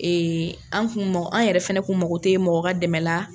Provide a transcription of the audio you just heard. Ee an kun mago an yɛrɛ fana kun mago tɛ mɔgɔ ka dɛmɛ na.